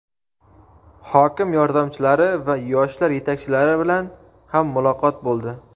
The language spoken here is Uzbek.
Hokim yordamchilari va yoshlar yetakchilari bilan ham muloqot bo‘ldi.